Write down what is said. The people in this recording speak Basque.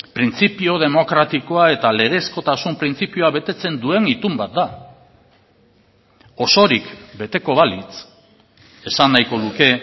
printzipio demokratikoa eta legezkotasun printzipioa betetzen duen itun bat da osorik beteko balitz esan nahiko nuke